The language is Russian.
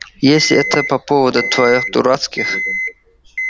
если это по поводу твоих дурацких